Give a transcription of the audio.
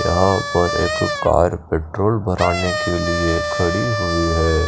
यहां पर एक कार पेट्रोल भराने के लिए खड़ी हुई है।